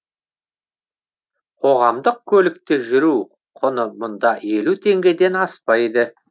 қоғамдық көлікте жүру құны мұнда елу теңгеден аспайды